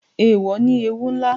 Eèwò ní ewú ńlá